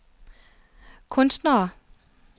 kunstnere